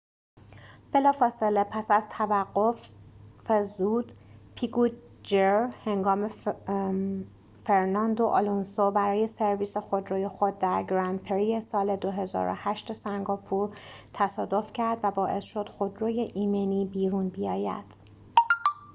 piquet jr بلافاصله پس از توقف زود هنگام فرناندو آلونسو برای سرویس خودروی خود در گرند پری سال ۲۰۰۸ سنگاپور تصادف کرد و باعث شد خودروی ایمنی بیرون بیاید